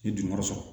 N ye dugumayɔrɔ sɔrɔ